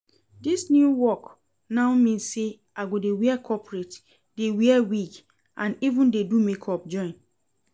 Dis new work now mean say I go dey wear corporate, dey wear wig and even dey do makeup join